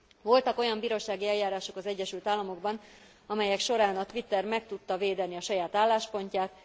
Voltak olyan bírósági eljárások az Egyesült Államokban, amelyek során a Twitter meg tudta védeni a saját álláspontját.